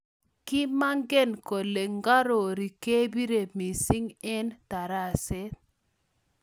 kimangen kole ngarori kebiro missing eng taraset